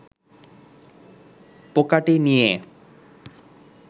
পোকাটি নিয়ে